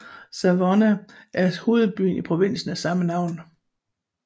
Savona er hovedby i provinsen af samme navn